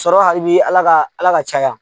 Sɔrɔ hali bi Ala ka Ala ka caya